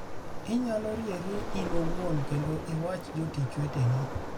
Inyalo rieri in iwuon kendo iwach jotich weteni.